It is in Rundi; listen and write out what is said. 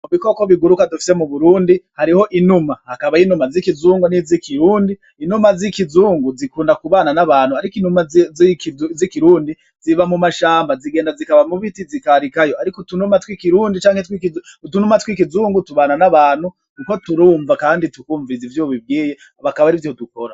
Ibikoko biguruka dufise mu Burundi hariho inuma ,hakaba inuma z'ikizungu n'izikirundi, inuma z'ikizungu zikunda kubana n'abantu ariko inuma z'ikirundi ziba mu mashamba zigenda zikaba mubiti zikarikayo ariko utunuma tw'ikirundi canke utunuma tw'ikizungu tubana n'abantu kuko turunva kandi tukunviriza ivyo ubibwiye bakaba arivyo dukora.